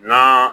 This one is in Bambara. N'a